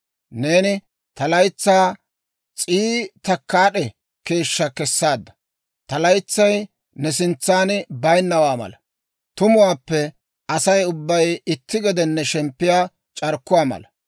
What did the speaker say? Neeni ta laytsaa s'ii takkaad'e keeshshaa kessaadda. Ta laytsay ne sintsan bayinnawaa mala; tumuwaappe Asay ubbay itti gede shemppiyaa c'arkkuwaa mala.